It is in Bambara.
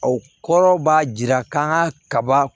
O kɔrɔ b'a jira k'an ka kaba